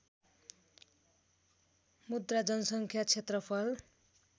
मुद्रा जनसङ्ख्या क्षेत्रफल